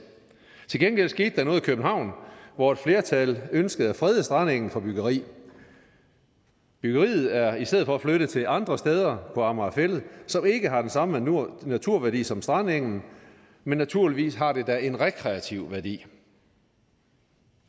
til gengæld skete der noget i københavn hvor et flertal ønskede at frede strandengen for byggeri byggeriet er i stedet for flyttet til andre steder på amager fælled som ikke har den samme naturværdi som strandengen men naturligvis har de da en rekreativ værdi